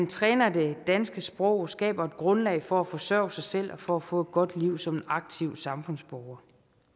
træner det danske sprog og skaber et grundlag for at forsørge sig selv og for at få et godt liv som en aktiv samfundsborger